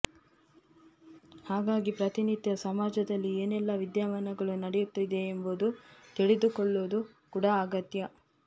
ಹಾಗಾಗಿ ಪ್ರತಿನಿತ್ಯ ಸಮಾಜದಲ್ಲಿ ಏನೆಲ್ಲಾ ವಿದ್ಯಾಮಾನಗಳು ನಡೆಯುತ್ತಿದೆ ಎಂಬುದು ತಿಲಿದುಕೊಳ್ಳುವುದು ಕೂಡಾ ಅಗತ್ಯ